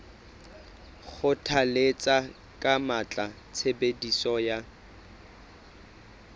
kgothalletsa ka matla tshebediso ya